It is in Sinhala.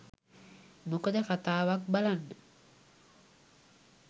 මොකද කතාවක් බලන්න